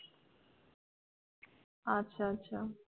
আচ্ছা আচ্ছা।